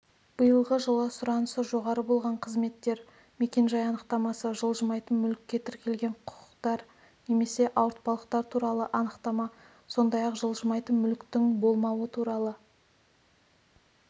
биылғы жылы сұранысы жоғары болған қызметтер мекенжай анықтамасы жылжымайтын мүлікке тіркелген құқықтар немесе ауыртпалықтар туралы анықтама сондай-ақ жылжымайтын мүліктің болмауы туралы